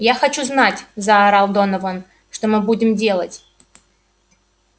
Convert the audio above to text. я хочу знать заорал донован что мы будем делать